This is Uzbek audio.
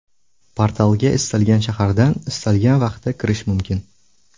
Portalga istalgan shahardan istalgan vaqtda kirish mumkin.